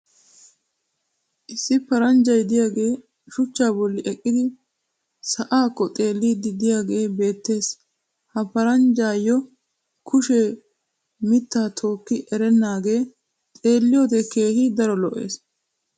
issi paranjjay diyaagee shuchchaa bolli eqqidi sa"aakko xeelliiddi diyaagee beettees. ha paranjjaayoo kushee mittaa tookki erenaagee xeelliyoode keehi daro lo'ees.